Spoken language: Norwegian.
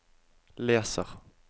leser